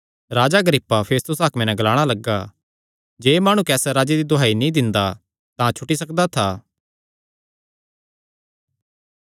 राजा Agrippa Festus हाकम नैं ग्लाणा लग्गा जे एह़ माणु कैसर राजे दी दुहाई नीं दिंदा तां छुटी सकदा था